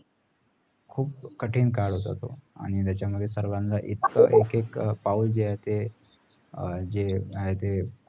खुप कठीण काळ होत आणी त्याचा मध्ये सर्वांना इत्यक एक एक पाऊल जे आहे ते